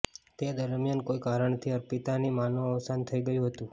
તે દરમિયાન કોઈ કારણથી અર્પિતાની માંનું અવસાન થઇ ગયું હતું